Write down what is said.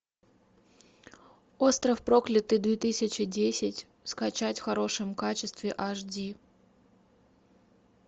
остров проклятых две тысячи десять скачать в хорошем качестве аш ди